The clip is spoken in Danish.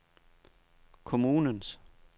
kommunens